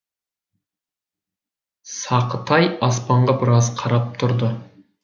сақытай аспанға біраз қарап тұрды